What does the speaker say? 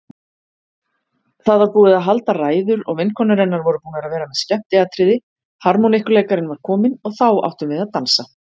Það var búið að halda ræður og vinkonur hennar voru búnar að vera með skemmtiatriði, harmonikkuleikarinn var kominn og þá áttum við að dansa.